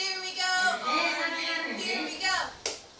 ge a ka re ge